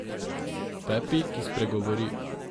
Pepi, ki spregovori.